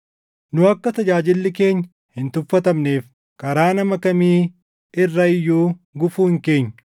Nu akka tajaajilli keenya hin tuffatamneef, karaa nama kamii irra iyyuu gufuu hin keenyu.